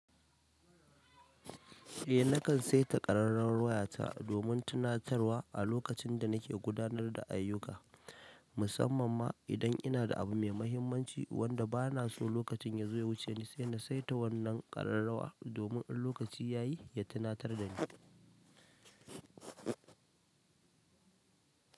Eh nakan saita ƙararrawar wayata domin tunatarwa a lokacin da nake gudanar da ayyuka, musamman ma idan ina da abu mai mahimmanci wanda ba na so lokacin ya zo ya wuce ni sai na saita wannan ƙararrawa domin in lokaci ya yi ya tunatar da ni.